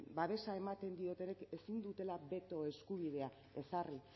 babesa ematen diotenek ezin dutela beto eskubidea ezarri